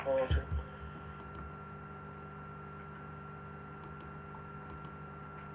okay